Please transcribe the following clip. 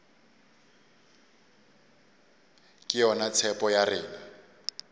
ke yona tshepo ya rena